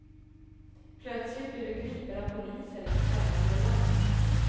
Plötsligt blir du gripen av polisen i ett främmande land.